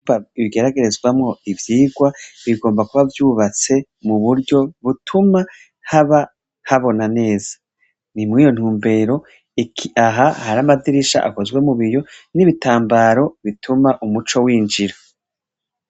Bibigeragerezwamwo ivyirwa bigomba kuba vyubatse mu buryo butuma haba habona neza nti mwiyo ntumbero iki aha hari amadirisha akozwe mu biyo n'ibitambaro bituma umuco winjira.